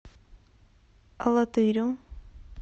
алатырю